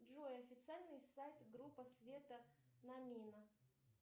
джой официальный сайт группа света намина